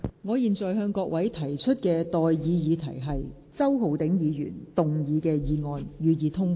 我現在向各位提出的待議議題是：周浩鼎議員動議的議案，予以通過。